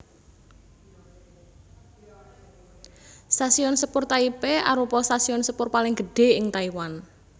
Stasiun Sepur Taipei arupa stasiun sepur paling gedhé ing Taiwan